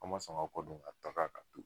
A ma sɔn ka kɔ don ka taga ka to yen.